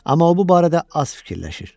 Amma o bu barədə az fikirləşir.